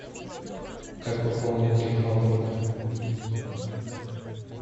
как пополнить телефон друга